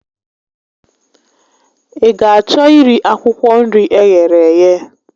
Ị ga achọ iri akwụkwọ nri eghere eghe?